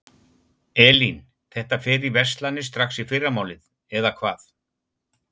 Elín: Þetta fer í verslanir strax í fyrramálið eða hvað?